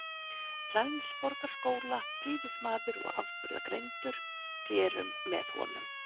Flensborgarskóla, prýðismaður og afburðagreindur, rerum með honum.